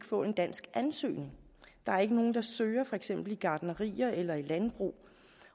få danske ansøgere der er ikke nogen der søger i for eksempel gartnerier eller i landbrug